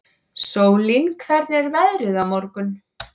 Sólín, hvernig er veðrið á morgun?